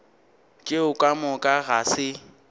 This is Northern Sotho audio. tšeo ka moka ga se